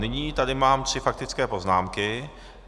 Nyní tady mám tři faktické poznámky.